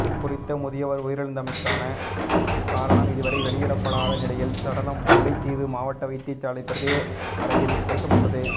குறித்த முதியவர் உயிரிழந்தமைக்கான காரணம் இதுவரை வெளியிடப்படாத நிலையில் சடலம் முல்லைத்தீவு மாவட்ட வைத்தியசாலை பிரேத அறையில் வைக்கப்பட்டுள்ளது